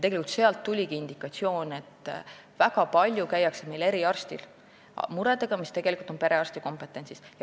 Tegelikult sealt tuligi indikatsioon, et väga palju käiakse meil eriarsti juures muredega, mis tegelikult on perearsti kompetentsis.